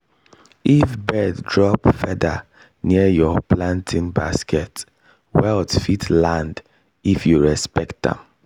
if bird drop feather near your planting basket wealth fit land if you respect am.